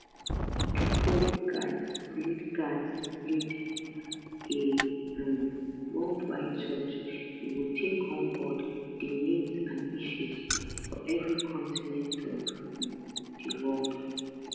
di pope gatz lead gatz lead a um worldwide church e go take on board di needs and issues for evri continent of um di world